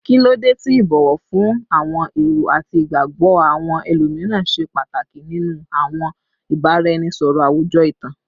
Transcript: Kilode ti ibowo fun awọn ero ati igbagbọ awọn ẹlomiran ṣe pataki ninu awọn ibaraẹnisọrọ awujọ itan?